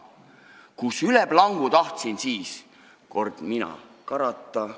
Kuis üle plangu tahtsin siis kord mina karata.